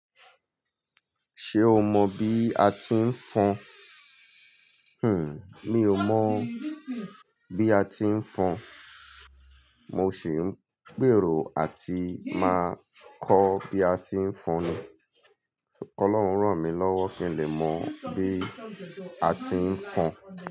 Ṣé o mọ bi a ti ń fọn? Hmm, mi ò mọ̀ bí a ti ń fọn. Mo sì ń gbèrò àti máa kọ́ bí a ti ń fọn ni. Ọlọ́run ràn mí lọ́wọ́ kí n lè mọ̀ bí a ti ń fọn.